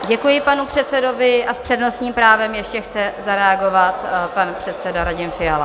Děkuji panu předsedovi a s přednostním právem ještě chce zareagovat pan předseda Radim Fiala.